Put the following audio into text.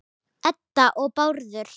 Edda og Bárður.